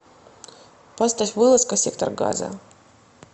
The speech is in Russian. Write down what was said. поставь вылазка сектор газа